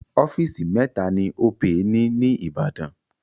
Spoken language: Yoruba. Ọ́fíìsì mẹ́ta ni Opay ni ní Ìbàdàn.